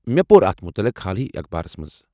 مےٚ پوٚر اتھ متلق حالٕے منٛز اخبارس منز ۔